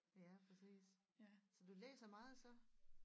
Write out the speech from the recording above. Ja præcis så du læser meget så